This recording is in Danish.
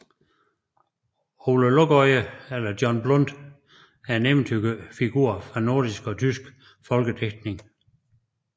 Ole Lukøje eller Jon Blund er en eventyrfigur fra nordisk og tysk folkedigtning